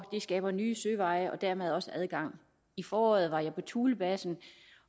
det skaber nye søveje og dermed også adgang i foråret var jeg på thulebasen